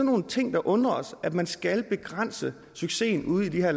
nogle ting der undrer os at man skal begrænse succesen ude i de her